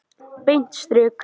Beint strik!